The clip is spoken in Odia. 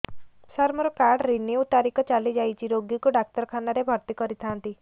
ସାର ମୋର କାର୍ଡ ରିନିଉ ତାରିଖ ଚାଲି ଯାଇଛି ରୋଗୀକୁ ଡାକ୍ତରଖାନା ରେ ଭର୍ତି କରିଥାନ୍ତି